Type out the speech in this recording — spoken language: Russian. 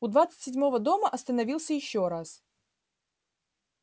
у двадцать седьмого дома остановился ещё раз